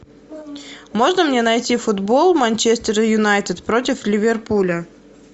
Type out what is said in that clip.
можно мне найти футбол манчестер юнайтед против ливерпуля